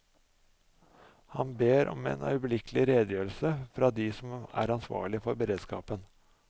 Han ber om en øyeblikkelig redegjørelse fra de som er ansvarlig for beredskapen.